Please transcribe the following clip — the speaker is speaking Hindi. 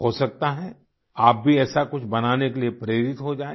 हो सकता है आप भी ऐसा कुछ बनाने के लिए प्रेरित हो जायें